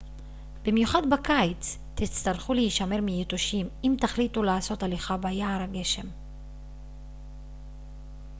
במיוחד בקיץ תצטרכו להישמר מיתושים אם תחליטו לעשות הליכה ביער הגשם